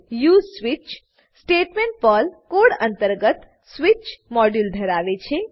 use switch statement Perl code અંતર્ગત switch module ધરાવે છે